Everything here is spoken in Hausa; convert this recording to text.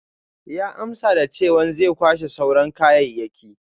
Ya amsa da chewan zai kwashe sauran kayayyaki.